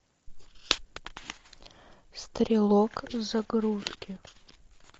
стрелок загрузки